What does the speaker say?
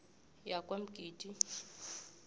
yakwamgidi